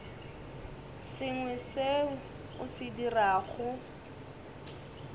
sengwe seo o se dirago